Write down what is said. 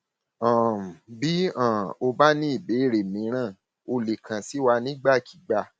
um bí um o bá ní ìbéèrè míràn o lè kàn sí wa nígbàkigbà